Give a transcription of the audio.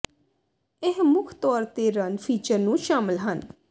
ਇਹ ਮੁੱਖ ਤੌਰ ਤੇ ਰਨ ਫੀਚਰ ਨੂੰ ਸ਼ਾਮਲ ਹਨ